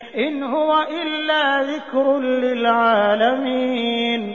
إِنْ هُوَ إِلَّا ذِكْرٌ لِّلْعَالَمِينَ